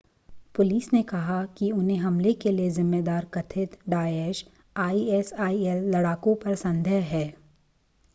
police ने कहा कि उन्हें हमले के लिए ज़िम्मेदार कथित डाएश आईएसआईएल लड़ाकों पर संदेह है